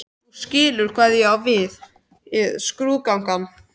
Þú skilur hvað ég á við: skrúðgangan